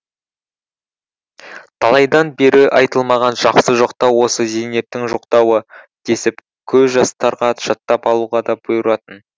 талайдан бері айтылмаған жақсы жоқтау осы зейнептің жоқтауы десіп көп жастарға жаттап алуға да бұйыратын